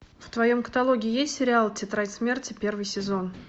в твоем каталоге есть сериал тетрадь смерти первый сезон